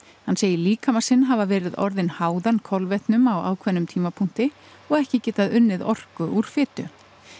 hann segir líkama sinn hafa orðið háðan kolvetnum á ákveðnum tímapunkti og ekki geta unnið orku úr fitu